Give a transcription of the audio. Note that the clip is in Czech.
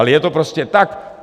Ale je to prostě tak.